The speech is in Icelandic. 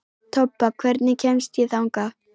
Tobba, hvernig kemst ég þangað?